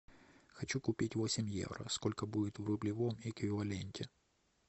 хочу купить восемь евро сколько будет в рублевом эквиваленте